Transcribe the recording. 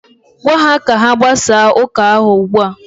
Gwa ha ka ha gbasaa ụka ahụ ugbua!